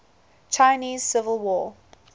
chinese civil war